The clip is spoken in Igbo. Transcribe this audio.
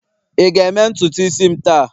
ị ga-eme ntutu isi m taa?